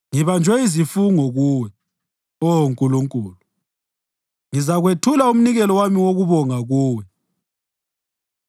Ngibanjwe yizifungo kuwe, Oh Nkulunkulu; ngizakwethula umnikelo wami wokubonga kuwe.